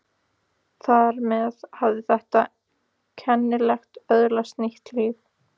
Þar með hafði þetta kennileiti öðlast nýtt líf.